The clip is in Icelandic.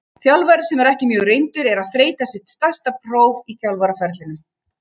Þjálfari sem er ekki mjög reyndur og er að þreyta sitt stærsta próf á þjálfaraferlinum.